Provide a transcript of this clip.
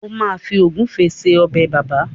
o ma Fi egufe sí Ọbẹ̀ bàbá.